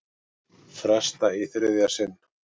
Fresta í þriðja sinn